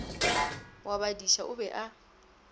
wa badiša o be a